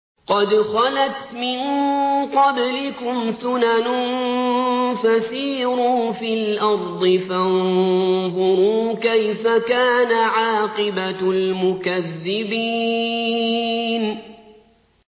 قَدْ خَلَتْ مِن قَبْلِكُمْ سُنَنٌ فَسِيرُوا فِي الْأَرْضِ فَانظُرُوا كَيْفَ كَانَ عَاقِبَةُ الْمُكَذِّبِينَ